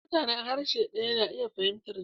Mutanen harshe ɗaya na iya fahimtar juna.